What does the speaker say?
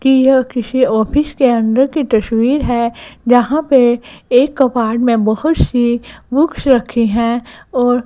की यह किसी ऑफिस के अंदर की तस्वीर है जहां पे एक कबाड में बहोत सी बुक्स रखे हैं और--